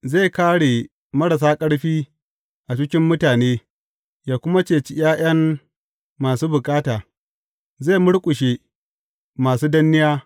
Zai kāre marasa ƙarfi a cikin mutane yă kuma cece ’ya’yan masu bukata; zai murƙushe masu danniya.